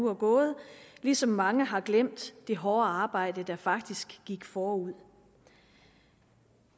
er gået ligesom mange har glemt det hårde arbejde der faktisk gik forud